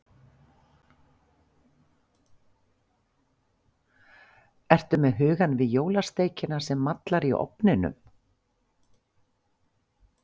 Ertu með hugann við jólasteikina sem mallar í ofninum?